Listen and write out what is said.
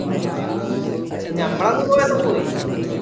ആഹ് ഞമ്മള് അങ്ങ് പോയപ്പൊ പോയി